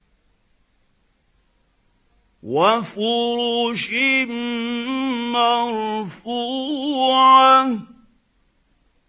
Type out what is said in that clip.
وَفُرُشٍ مَّرْفُوعَةٍ